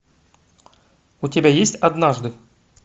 у тебя есть однажды